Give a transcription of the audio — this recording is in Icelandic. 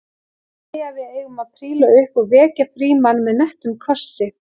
Þeir segja að við eigum að príla upp og vekja Frímann með nettum kossi